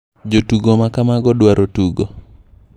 Jotugo ma kamago dwaro tugo.